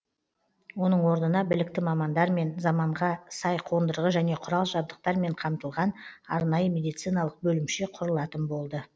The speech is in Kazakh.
оның орнына білікті мамандармен заманға сай қондырғы және құрал жабдықтармен қамтылған арнайы медициналық бөлімше құрылатын болды